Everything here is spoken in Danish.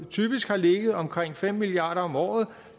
typisk har ligget omkring fem milliard kroner om året